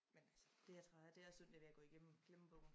Men altså det er træls det er synd det ved at gå i glemme glemmebogen